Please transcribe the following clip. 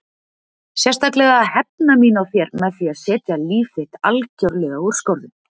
Sérstaklega að hefna mín á þér með því að setja líf þitt algjörlega úr skorðum.